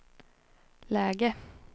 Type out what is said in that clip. läge